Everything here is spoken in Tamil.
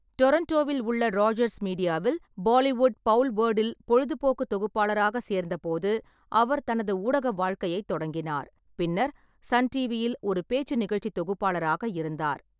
டொறொன்டோவில் உள்ள ராஜர்ஸ் மீடியாவில் பாலிவுட் பவுல்வர்டில் பொழுதுபோக்கு தொகுப்பாளராக சேர்ந்தபோது அவர் தனது ஊடக வாழ்க்கையைத் தொடங்கினார், பின்னர் சன் டிவியில் ஒரு பேச்சு நிகழ்ச்சி தொகுப்பாளராக இருந்தார்.